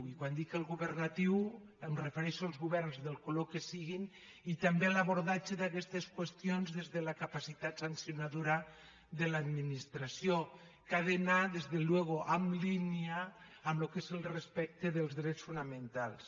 i quan dic el governatiu em refereixo als governs del color que siguin i també a l’abordatge d’aquestes qüestions des de la capacitat sancionadora de l’administració que ha d’anar per descomptat en línia amb el que és el respecte dels drets fonamentals